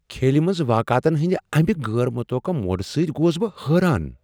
کھیلِہ منز واقعاتن ہندِ امہ غیر متوقع موڑ سۭتۍ گوس بہٕ حیران۔